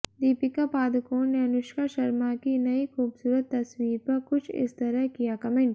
दीपिका पादुकोण ने अनुष्का शर्मा की नयी खूबसूरत तस्वीर पर कुछ इस तरह किया कमेंट